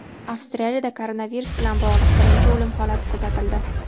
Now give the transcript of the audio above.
Avstraliyada koronavirus bilan bog‘liq birinchi o‘lim holati kuzatildi.